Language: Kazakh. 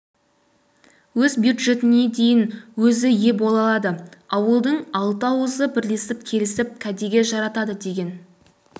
өз бюджетіне де өзі ие бола алады ауылдың алты ауызы бірлесіп келісіп кәдеге жаратады деген